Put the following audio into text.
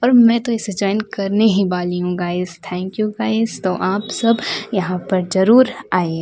और मैं तो इसे जॉइन करने ही वाली हूं गाइस थैंक यू गाइस तो आप सब यहां पर जरूर आएं।